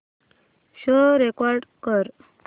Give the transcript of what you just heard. show record कर